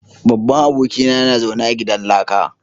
Babban abokina yana zaune a gidan laka